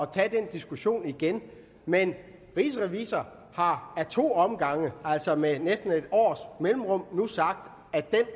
tage den diskussion igen men rigsrevisor har ad to omgange altså med næsten et års mellemrum nu sagt at den